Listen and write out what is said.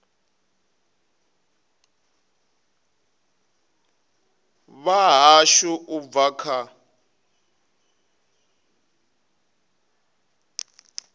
vha hashu u bva kha